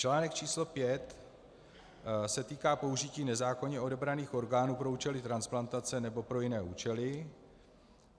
Článek číslo pět se týká použití nezákonně odebraných orgánů pro účely transplantace nebo pro jiné účely.